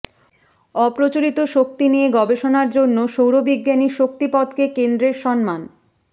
অপ্রচলিত শক্তি নিয়ে গবেষণার জন্য সৌরবিজ্ঞানী শান্তিপদকে কেন্দ্রের সম্মান